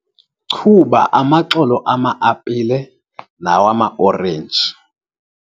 chuba amaxolo ama-apile nawama-orenji